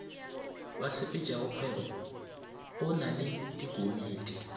basepetšakgwebo go na le dikomiti